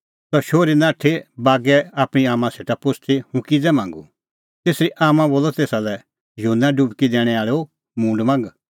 सह शोहरी नाठी बागै आपणीं आम्मां सेटा पुछ़दी हुंह किज़ै मांगूं तेसरी आम्मां बोलअ तेसा लै युहन्ना डुबकी दैणैं आल़ैओ मूंड मांग